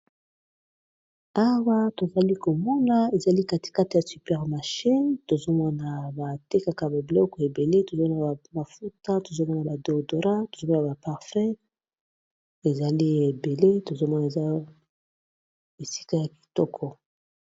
awa tozali komona ezali katikata ya supermashe tozomwna ba tekaka ba biloko ebele tozomwana bamafuta tozonana ba doodora tozomwna baparfut ezali ebele tozomwana eza esika ya kitoko